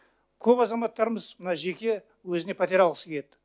көп азаматтарымыз мына жеке өзіне пәтер алғысы келеді